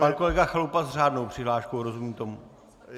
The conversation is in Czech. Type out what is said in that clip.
Pan kolega Chalupa s řádnou přihláškou - rozumím tomu?